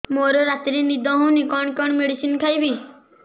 ମୋର ରାତିରେ ନିଦ ହଉନି କଣ କଣ ମେଡିସିନ ଖାଇବି